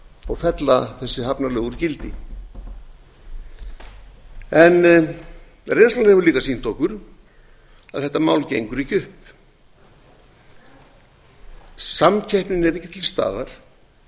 og fella þessi hafnalög úr gildi reynslan hefur líka sýnt okkur að þetta mál gengur ekki upp samkeppnin er ekki til staðar